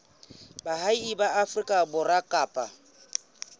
baahi ba afrika borwa kapa